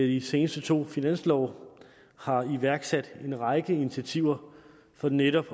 de seneste to finanslove har iværksat en række initiativer for netop